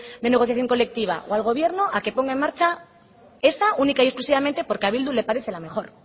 de negociación colectiva o al gobierno a que ponga en marcha esa única y exclusivamente porque a bildu le parece la mejor